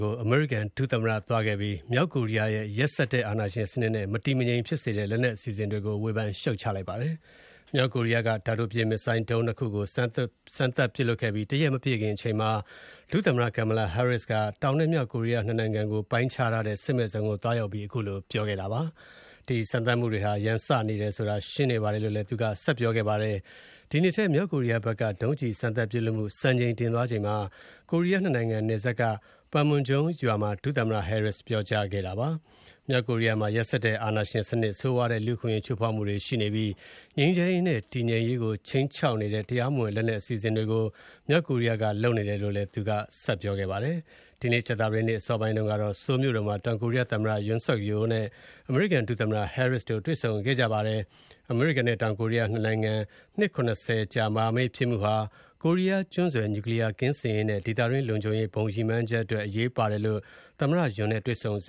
ကို အမေရိကန်ဒုသမ္မတ Kamala Harris သွားခဲ့ပြီး မြောက်ကိုရီးယားရဲ့ရက်စက်တဲ့အာဏာရှင်စနစ်နဲ့ မတည်မငြိမ်ဖြစ်စေတဲ့ လက်နက်အစီအစဉ်ကို ဝေဖန်ရှုတ်ချလိုက်ပါတယ်။ မြောက်ကိုရီးယားနိုင်ငံက တာတိုပစ် Missile ဒုံး ၂ ခုကို စမ်းသပ်ပစ်လွှတ်ခဲ့ပြီး တရက်မပြည့်ချိန်မှာ ဒုသမ္မတ Harris က စစ်မဲ့ဇုံကိုသွားရောက်ပြီး ခုလိုပြောကြားခဲ့တာပါ။ ဒီစမ်းသပ်မှုတွေဟာ ရန်စနေတယ်ဆိုတာ ရှင်းနေတယ်လို့ သူကပြောကြားခဲ့တာပါ။ ဒီနှစ်ထဲ မြောက်ကိုရီးယားဘက်က ဒုံးကျည်စမ်းသပ်ပစ်လွှတ်မှု စံချိန်တင်သွားချိန်မှာ ကိုရီးယား ၂ နိုင်ငံနယ်စပ်က Panmunjom ရွာမှာ ပြောကြားခဲ့တာဖြစ်ပါတယ်။ မြောက်ကိုရီးယားမှာ ရက်စက်တဲ့အာဏာရှင်စနစ်၊ ဆိုးဝါးတဲ့လူ့အခွင့်အရေးချိုးဖောက်မှုတွေနဲ့ ငြိမ်းချမ်းတည်ငြိမ်ရေးကိုခြိမ်းခြောက်နေတဲ့ တရားမဝင် လက်နက်အစီအစဉ်တွေကို မြောက်ကိုရီးယားကလုပ်နေတယ်လို့ သူက ပြောပါတယ်။ ဒီနေ့ ကြာသပတေးနေ့ အစောပိုင်းတုန်းကတော့ Seoul မြို့တော်မှာ တောင်ကိုရီးယား သမ္မတ Yoon နဲ့ အမေရိကန်ဒုသမ္မတ တွေ့ဆုံခဲ့ပါတယ်။ အမေရိကန်နဲ့ တောင်ကိုရီးယား ၂ နိုင်ငံ နှစ် ၇၀ ကြာ မဟာမိတ်ဖြစ်မှုဟာ ကိုရီးယားကျွန်းဆွယ် နျူကလီယားကင်းစင်ရေးနဲ့ ဒေသတွင်းလုံခြုံရေး ဘုံရည်မှန်းချက်အတွက်အရေးပါတယ်လို့ သမ္မတ Yoon Suk Yeo နဲ့တွေ့ဆုံစ